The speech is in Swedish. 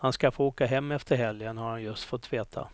Han ska få åka hem efter helgen har han just fått veta.